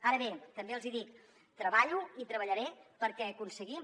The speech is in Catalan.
ara bé també els hi dic treballo i treballaré perquè aconseguim